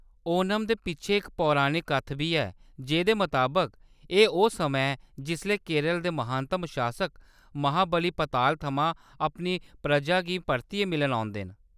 ओणम दे पिच्छें इक पौराणिक कत्थ बी ऐ, जेह्‌दे मताबक, एह्‌‌ ओह्‌‌ समां ऐ जिसलै केरल दे महानतम शासक महाबली पताल थमां अपनी परजा गी परतियै मिलन औंदे न।